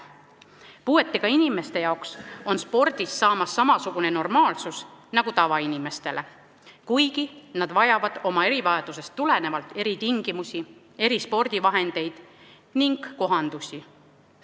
Spordist on puuetega inimestele saamas samasugune normaalsus nagu tavainimestele, kuigi nad vajavad oma erivajadusest tulenevalt eritingimusi, erispordivahendeid ning kohandusi.